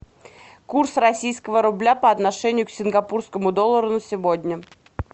курс российского рубля по отношению к сингапурскому доллару на сегодня